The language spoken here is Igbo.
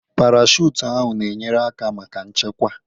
Parachute ahụ n'enyere aka maka nchekwa.